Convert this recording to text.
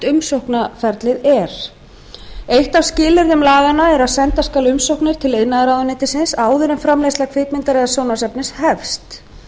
umsóknarferlið er eitt af skilyrðum laganna er að senda skal umsóknir til iðnaðarráðuneytisins áður en framleiðsla kvikmyndar eða sjónvarpsefnis hefst